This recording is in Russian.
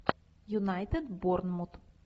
юнайтед борнмут